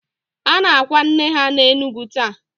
A na-akwa nne ha n'Enugu taa.